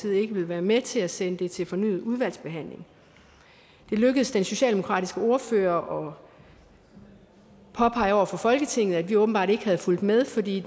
ikke vil være med til at sende det til fornyet udvalgsbehandling det lykkedes den socialdemokratiske ordfører at påpege over for folketinget at vi åbenbart ikke havde fulgt med fordi